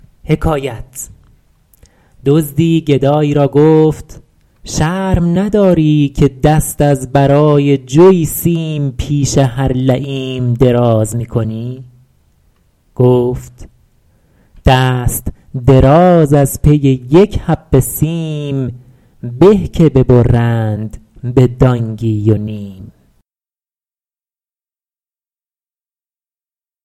دزدی گدایی را گفت شرم نداری که دست از برای جوی سیم پیش هر لییم دراز می کنی گفت دست دراز از پی یک حبه سیم به که ببرند به دانگی و نیم